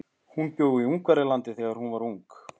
Hún bjó í Ungverjalandi þegar hún var ung.